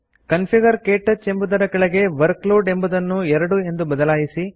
configure ಕ್ಟಚ್ ಎಂಬುದರ ಕೆಳಗೆ ವರ್ಕ್ಲೋಡ್ ಎಂಬುದನ್ನು 2 ಎಂದು ಬದಲಾಯಿಸಿ